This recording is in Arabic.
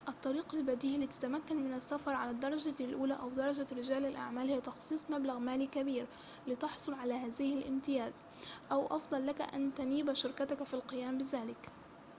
الطريق البديهي لتتمكن من السفر على الدرجة الأولى أو درجة رجال الأعمال هي تخصيص مبلغ مالي كبير لتحصل على هذا الامتياز أو أفضل لك أن تنيب شركتك في القيام بذلك